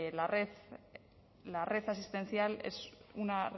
la red asistencial es una